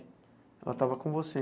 Ela estava com você?